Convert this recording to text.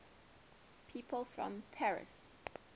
people from paris